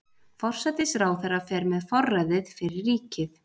Forsætisráðherra fer með forræðið fyrir ríkið.